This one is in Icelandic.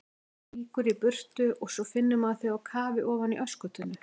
Rýkur í burtu og svo finnur maður þig á kafi ofan í öskutunnu!